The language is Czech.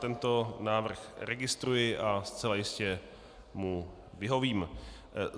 Tento návrh registruji a zcela jistě mu vyhovím.